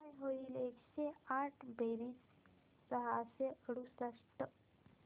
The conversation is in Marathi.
काय होईल एकशे आठ बेरीज सहाशे अडुसष्ट